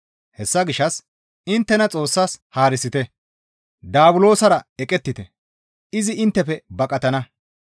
Hessa gishshas inttena Xoossas haarisite; Daabulosara eqettite; izi inttefe baqatana.